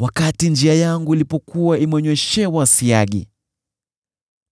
wakati njia yangu ilikuwa imenyweshewa siagi,